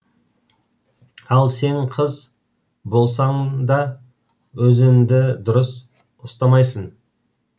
ал сен қыз болсаң да өзіңді дұрыс ұстамайсың